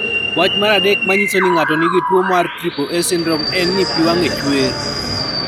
Wach mar adek manyiso ni ng'ato nigi tuwo mar triple A syndrome en ni pi wang'e chuer.